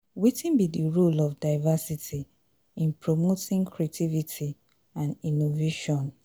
wetin be di role of diversity in promoting creativity and innovation?